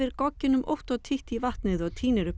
gogginum ótt og títt í vatnið og tínir upp